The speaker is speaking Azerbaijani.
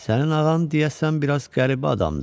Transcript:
Sənin ağan deyəsən biraz qəribə adamdır.